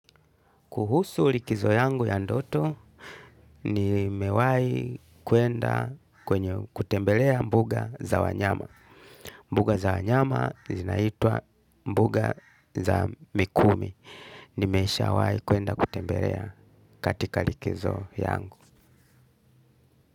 Kuhusu likizo yangu ya ndoto, ni mewahi kuenda kwenye kutembelea mbuga za wanyama. Mbuga za wanyama zinaitwa mbuga za mikumi. Nimeshawahi kuenda kutembelea katika likizo yangu.